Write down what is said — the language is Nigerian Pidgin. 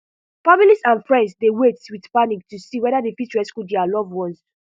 families and friends dey wait wit panic to see weda dem fit rescue dia loved ones